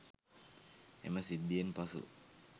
එම සිද්ධියෙන් පසු